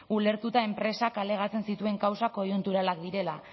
ulertuta enpresak alegatzen zituen kausak koiunturalak direla